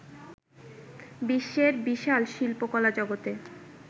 বিশ্বের বিশাল শিল্পকলা জগতে